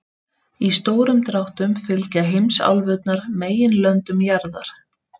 Í stórum dráttum fylgja heimsálfurnar meginlöndum jarðar.